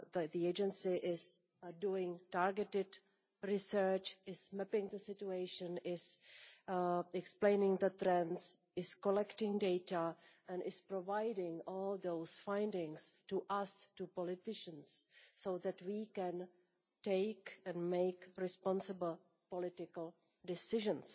The Agency is doing targeted research, mapping the situation, explaining the trends, collecting data and providing all those findings to us, to politicians, so that we can take responsible political decisions.